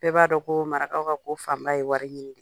Bɛɛ b'a dɔn ko marakaw ka ko fanba ye wari ɲini ye